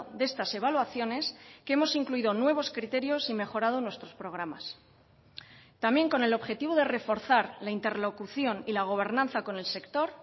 de estas evaluaciones que hemos incluido nuevos criterios y mejorado nuestros programas también con el objetivo de reforzar la interlocución y la gobernanza con el sector